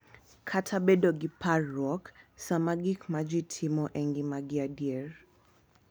Kata bedo gi parruok sama gik ma ji timo e ngimagi adier